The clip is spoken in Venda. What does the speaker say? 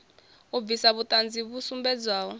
u bvisa vhuṱanzi vhu sumbedzaho